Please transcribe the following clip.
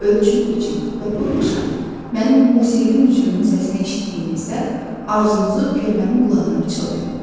Ölçün biçin və bu axşam mənim musiqili mücrümün səsini eşitdiyinizdə arzunuzu körpənin qulağına pıçıldayın.